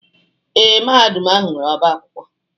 Ee, Mahadum ahụ nwere ọbá akwụkwọ.